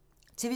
TV 2